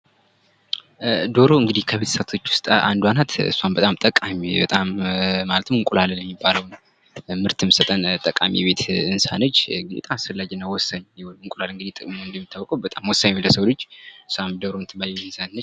ዶሮ እንግዲህ ከቤት እንስሳቶች ውስጥ አንዷ ናት እሷም በጣም ጠቃሚ በጣም ማለትም እንቁላልን የሚባለውን ምርት የምትሰጠን ጠቃሚ የቤት እንስሳ ነች አስፈላጊና ወሳኝ እንቁላል እንግዲህ እንደሚታወቀው በጣም ወሳኝ ነው ለሰው ልጅ እሷም ዶሮ የምትባል እንስሳት ነች።